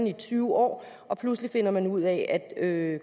i tyve år og pludselig finder man ud af at